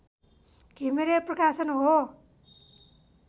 घिमिरे प्रकाशन हो